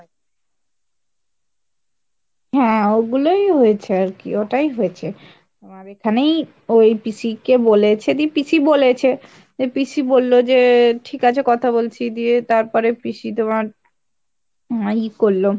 হ্যাঁ ঐগুলোই হয়েছে আরকি ওটাই হয়েছে তোমার এখানেই ওই পিসি কে বলেছে সেদিন পিসি বলেছে। যে পিসি বলল যে ঠিক আছে কথা বলছি দিয়ে তারপরে পিসি তোমার, আহ ই করল।